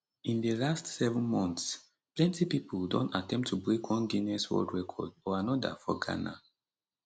in di last seven months plenti pipo don attempt to break one guinness world record or another for ghana